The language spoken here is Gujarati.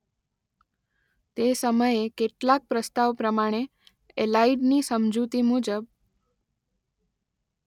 તે સમયે કેટલાક પ્રસ્તાવ પ્રમાણે એલાઇડની સમજૂતી મુજબ